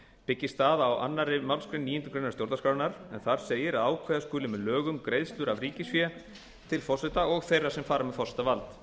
byggist það á annarri málsgrein níundu grein stjórnarskrárinnar en þar segir að ákveða skuli með lögum greiðslur af ríkisfé til forseta og þeirra sem fara með forsetavald